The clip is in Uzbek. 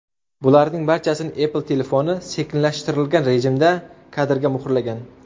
Bularning barchasini Apple telefoni sekinlashtirilgan rejimda kadrga muhrlagan.